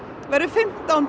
verður fimmtán